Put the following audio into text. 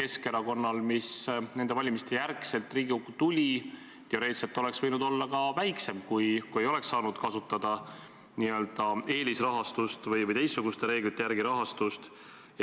Keskerakonna fraktsioon, mis nende valimiste järel Riigikokku tuli, oleks teoreetiliselt võinud olla väiksem, kui ei oleks saanud kasutada n-ö eelisrahastust või teistsuguste reeglite järgi rahastust.